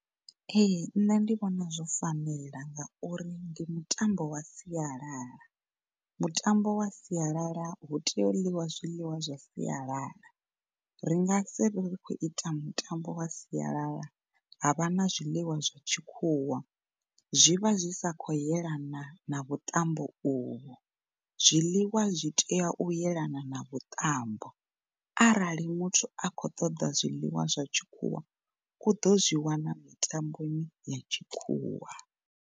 Ehe, ṋne ndi vhona zwo fanela ngauri ndi mutambo wa sialala. Mutambo wa sialala ho itelwa zwiḽiwa zwa sialala ringa siri ri khou ita mitambo sialala havha na zwiḽiwa zwa tshikhuwa zwi vha zwi si khou yelana na vhuṱambo u vho. Zwiḽiwa zwi tea u yelana na vhuṱambo, arali muthu a kho ṱoḓa zwiḽiwa zwa tshikhuwa, u ḓo zwi wana mitamboni ya tshikhuwa.